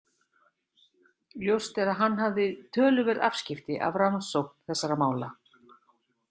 Ljóst er að hann hafði töluverð afskipti af rannsókn þessara mála.